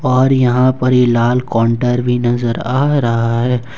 और यहां पर ये लाल काउंटर भी नजर आ रहा है।